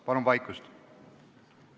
Palun vaikust!